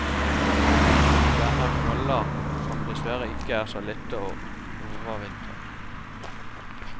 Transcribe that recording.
De danner knoller, som dessverre ikke er så lette å overvintre.